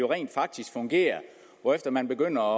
rent faktisk fungerer hvorefter man begynder